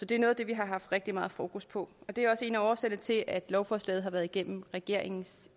det er noget af det vi har haft rigtig meget fokus på og det er også en af årsagerne til at lovforslaget har været igennem regeringens